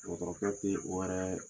Dɔgɔtɔrɔkɛ kun ɲe o wɛrɛ